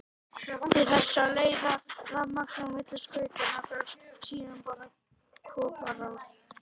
Til þess að leiða rafmagn á milli skautanna þarf síðan bara koparþráð.